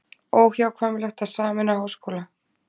Óhjákvæmilegt að sameina háskóla